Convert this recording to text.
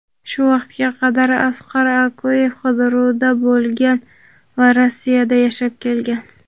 shu vaqtga qadar Asqar Akayev qidiruvda bo‘lgan va Rossiyada yashab kelgan.